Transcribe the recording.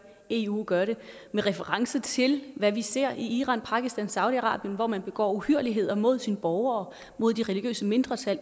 eu gør det med reference til hvad vi ser i iran pakistan saudi arabien hvor man begår uhyrligheder mod sine borgere mod de religiøse mindretal